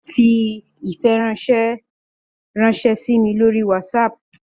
Fi ifiranṣẹ ranṣẹ si mi lori Whatsapp